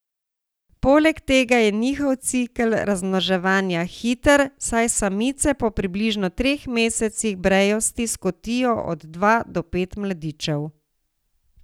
Poleg tega je njihov cikel razmnoževanja hiter, saj samice po približno treh mesecih brejosti skotijo od dva do pet mladičev.